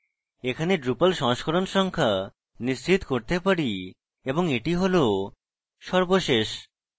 এখানে drupal সংস্করণ সংখ্যা নিশ্চিত করতে পারি এবং এটি হল সর্বশেষ